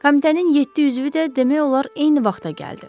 Komitənin yeddi üzvü də demək olar eyni vaxta gəldi.